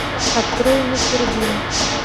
открой мистер бин